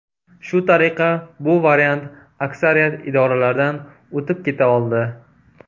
Shu tariqa, bu variant aksariyat idoralardan o‘tib keta oldi.